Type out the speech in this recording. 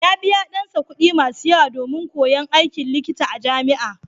Ya biyawa ɗansa kuɗi masu yawa domin koyon aikin likita a jami'a.